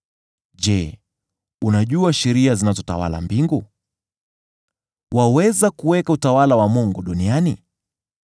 Je, unajua sheria zinazotawala mbingu? Waweza kuweka utawala wa Mungu duniani?